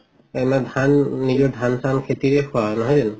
এনে ধান নিজৰ ধান চান খেতিৰে খোৱা নহয় জানো